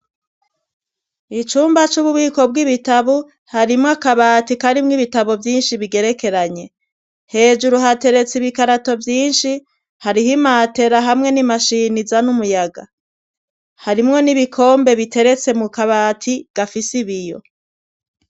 Icumba c'ububiko bw'ibitabo, harimwo akabati karimwo ibitabo vyinshi bigerekeranye, hejuru hateretse ibikarato vyinshi, hariho imatera hamwe n'imashini izana umuyaga, harimwo n'ibikombe biteretse mu kabati gafise ibiyo.